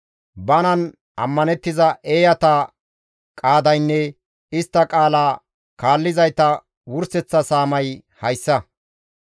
Banan ammanettiza eeyata qaadaynne istta qaala kaallizayta wurseththa saamay hayssa.